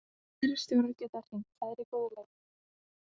Aðrir stjórar geta hringt, það er í góðu lagi.